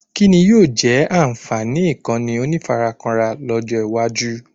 Kíni yóò jẹ́ ànfààní Ìkànnì onífarakínra lọ́jọ́ iwájú?